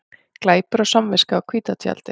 Glæpur og samviska á hvíta tjaldið